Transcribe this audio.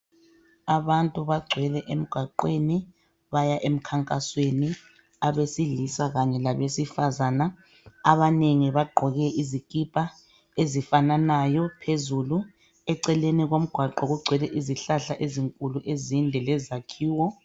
Abantu bagcwele emgwaqweni baya emkhankasweni. Abesilisa kanye labesifazana. Abanengi bagqoke izikipa ezifananayo phezulu. Eceleni komgwaqo kugcwele izihlahla ezinkulu ezinde lezakhiwo.